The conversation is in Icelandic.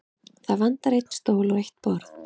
Það vantar einn stól og eitt borð.